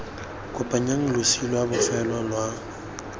kopanyang losi lwa bofelo lwa